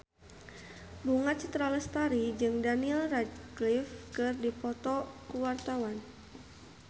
Bunga Citra Lestari jeung Daniel Radcliffe keur dipoto ku wartawan